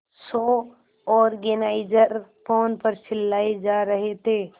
show organiser phone पर चिल्लाए जा रहे थे